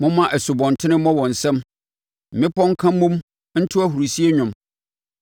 Momma nsubɔntene mmɔ wɔn nsam, mmepɔ nka mmom nto ahurisie dwom;